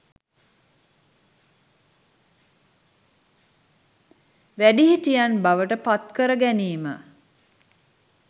වැඩිහිටියන් බවට පත්කර ගැනීම